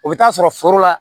O bɛ taa sɔrɔ foro la